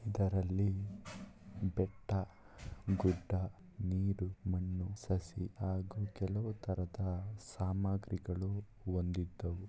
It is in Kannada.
ಇದರಲ್ಲಿ ಬೆಟ್ಟ ಗುಡ್ಡ ನೀರು ಮಣ್ಣು ಸಸಿ ಹಾಗೂ ಕೆಲವು ತರ ತರ ಸಾಮಾಗ್ರಿಗಳು ಹೊಂದಿದ್ದವು.